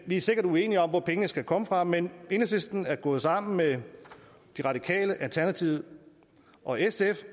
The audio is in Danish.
vi er sikkert uenige om hvor pengene skal komme fra men enhedslisten er gået sammen med de radikale alternativet og sf